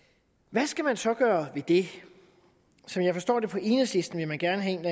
hvad skal man så gøre ved det som jeg forstår det på enhedslisten vil man gerne have en